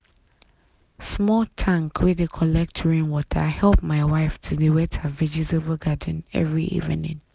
small tank wey dey collect rainwater help my wife to dey wet her vegetable garden every evening.